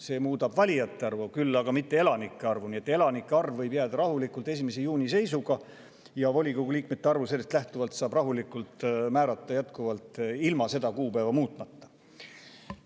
See muudab valijate arvu, küll aga mitte elanike arvu, nii et elanike arv võib olla 1. juuni seisuga ja volikogu liikmete arvu saab sellest lähtuvalt rahulikult määrata jätkuvalt ilma seda kuupäeva muutmata.